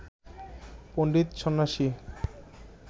পণ্ডিত সন্ন্যাসী